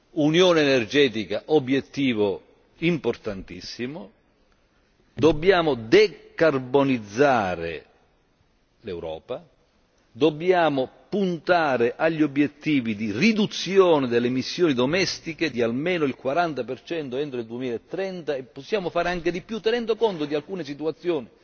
L'unione energetica è un obiettivo importantissimo. Dobbiamo decarbonizzare l'Europa e puntare agli obiettivi di riduzione delle emissioni domestiche di almeno il 40 entro il 2030 e possiamo fare anche di più, tenendo conto di alcune situazioni